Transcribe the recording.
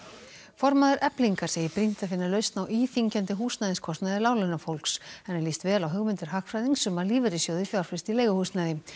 formaður Eflingar segir brýnt að finna lausn á íþyngjandi húsnæðiskostnaði láglaunafólks henni líst vel á hugmyndir hagfræðings um að lífeyrissjóðir fjárfesti í leiguhúsnæði